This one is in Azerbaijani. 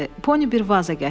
Pony bir vaza gətirdi.